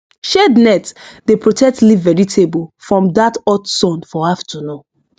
shade net dey protect leaf vegetable from that hot sun for afternoon